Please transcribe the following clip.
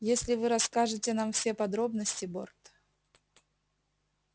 если вы расскажете нам все подробности борт